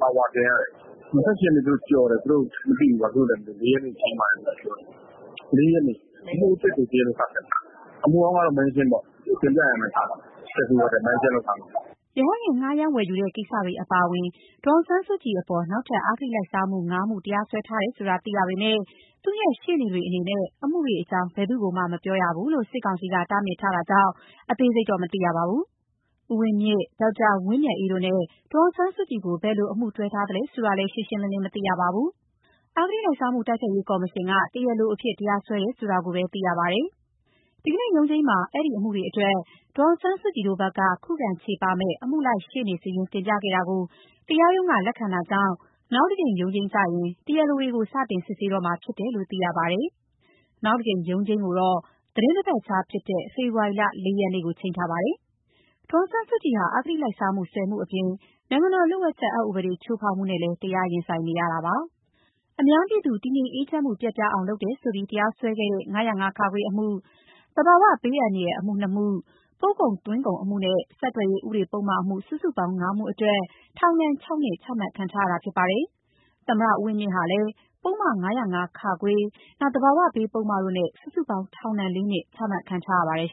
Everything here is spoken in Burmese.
ပါဝါတင်ရတယ်။ ၂၈ ရက်နေ့ကိုကျော်ပြီး ၄ ရက်နေ့ချိန်းတယ်၊ သူတို့ဘာဖြစ်လို့လဲမသိဘူး။ ၄ ရက်နေ့ချိန်းတယ်ပဲပြောတယ်။ ၄ ရက်နေ့ အမှုအသစ်ကို တရားလို စစစ်မယ်။ အမှုအဟောင်းကတော့ မန်းရှင်းပေါ့ တင်ပြရန်ပဲထားမယ်။ မစစ်ဘဲ မန်းရှင်းလုပ်ထား မယ်။” ရဟတ်ယာဉ် ငှားရမ်းဝယ်ယူတဲ့ ကိစ္စတွေအပါအဝင် ဒေါ်အောင်ဆန်းစုကြည်အပေါ် နောက်ထပ် အဂတိလိုက်စားမှု ၅ ခု တရားစွဲ ထားတယ်ဆိုတာ သိရပေမယ့် သူ့ရဲ့ရှေ့နေတွေအနေနဲ့ အမှုတွေအကြောင်း ဘယ်သူ့ကိုမှ မပြောရဘူးလို့ စစ်ကောင်စီက တားမြစ်ထားတဲ့အတွက် အသေးစိတ်မသိရပါဘူး။ ဦးဝင်းမြင့်၊ ဒေါက်တာဝင်းမြတ်အေးတို့နဲ့ ဒေါ်အောင်ဆန်းစုကြည်ကို ဘယ်လို အမှုတွဲထားသလဲဆိုတာလည်း ရှင်းရှင်းလင်းလင်း မသိရသေးပါဘူး။ အဂတိလိုက်စားမှု တိုက်ဖျက်ရေးကော်မရှင်က တရားလို အဖြစ် တရားစွဲတယ်ဆိုတာပဲ သိရပါတယ်။ ဒီကနေ့ရုံးချိန်းမှာ အဲဒီအမှုတွေအတွက် ဒေါ်အောင်ဆန်းစုကြည်တို့ဘက်က ခုခံချေပမယ့် အမှုလိုက်ရှေ့နေစာရင်း တင်ပြခဲ့တာ ကို တရားရုံးကလက်ခံတာကြောင့် နောက်တကြိမ် ရုံးချိန်းကျရင် တရားလိုတွေကို စတင်စစ်ဆေးတော့မှာဖြစ်တယ်လို့ သိရပါ တယ်။ နောက်တခေါက်ရုံးချိန်းကတော့ သီတင်းတပတ်ခြားဖြစ်တဲ့ ဖေဖော်ဝါရီလ ၄ ရက်နေ့ဖြစ်ပါတယ်။ ဒေါ်အောင်ဆန်းစုကြည်ဟာ အဂတိလိုက်စားမှု ၁၀ မှုအပြင် နိုင်ငံတော်လျှို့ဝှက်အက်ဥပဒေ ချိုးဖောက်မှုနဲ့လည်း တရားရင်ဆိုင် နေရပါတယ်။ ဒေါ်အောင်ဆန်းစုကြည်ဟာ အများပြည်သူ တည်ငြိမ်အေးချမ်းမှု ပျက်ပြားအောင်လုပ်တယ်ဆိုပြီး တရားစွဲခဲ့တဲ့ ၅၀၅-ခ အမှု၊ သဘာဝဘေးဆိုင်ရာ အမှု နှစ်ခု၊ ပို့ကုန်သွင်းကုန်အမှုနဲ့ ဆက်သွယ်ရေးဥပဒေအမှု စုစုပေါင်း ငါးမှုအတွက် ထောင်ဒဏ် ၆ နှစ် ချမှတ်ခံထားရပါတယ်။ သမ္မတဦးဝင်းမြင့်ဟာလည်း ပုဒ်မ ၅၀၅ ၊ သဘာဝဘေးပုဒ်မတို့နဲ့ စုစုပေါင်း ထောင်ဒဏ် ၄ နှစ် ချမှတ်ခံ ထားရပါတယ်